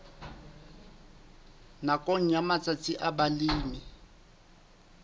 nakong ya matsatsi a balemi